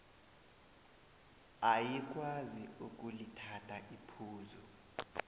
ayikwazi ukulithatha iphuzu